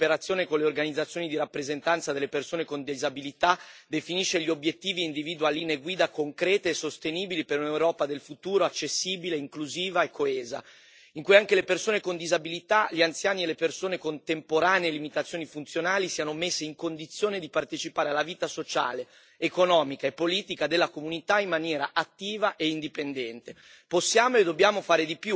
Questa relazione, redatta in stretta cooperazione con le organizzazioni di rappresentanza delle persone con disabilità, definisce gli obiettivi e individua linee guida concrete e sostenibili per un'Europa del futuro, accessibile, inclusiva e coesa, in cui anche le persone con disabilità, gli anziani e le persone con temporanee limitazioni funzionali siano messi in condizione di partecipare alla vita sociale, economica e politica della comunità in maniera attiva e indipendente.